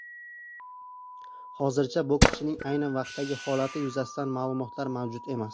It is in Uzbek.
Hozircha bokschining ayni vaqtdagi holati yuzasidan ma’lumotlar mavjud emas.